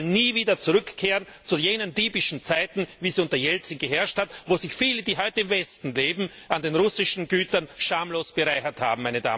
Sie wollen nie wieder zurückkehren zu jenen diebischen Zeiten, wie sie unter Jelzin geherrscht haben, wo sich viele, die heute im Westen leben an den russischen Gütern schamlos bereichert haben.